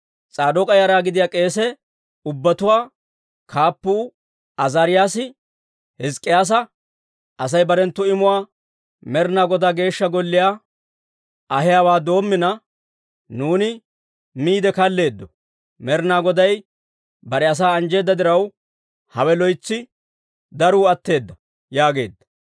S'aadook'a yara gidiyaa k'eese ubbatuwaa Kaappuu Azaariyaasi Hizk'k'iyyaasa, «Asay barenttu imuwaa Med'inaa Godaa Geeshsha Golliyaa ahiyaawaa doommina, nuuni miide kalleeddo. Med'inaa Goday bare asaa anjjeedda diraw, hawe loytsi daruu atteedda» yaageedda.